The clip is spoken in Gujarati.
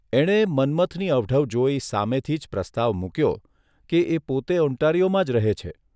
એણે મન્મથની અવઢવ જોઇ સામેથી જ પ્રસ્તાવ મૂક્યો કે એ પોતે ઓન્ટારિયોમાં જ રહે છે